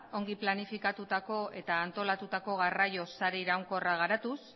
ondo planifikatutako eta antolatutako garraio sare iraunkorra garatuz